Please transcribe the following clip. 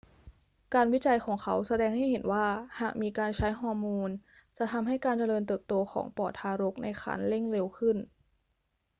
การวิจัยของเขาแสดงให้เห็นว่าหากมีการใช้ฮอร์โมนจะทำให้การเจริญเติบโตของปอดทารกในครรภ์เร่งเร็วขึ้น